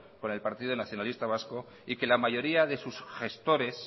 con el partido nacionalista vasco y que la mayoría de sus gestores